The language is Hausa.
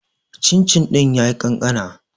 cin-cin ɗin ya yi kankana